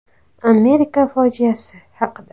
“Amerika fojiasi” haqida.